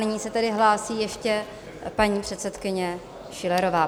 Nyní se tedy hlásí ještě paní předsedkyně Schillerová.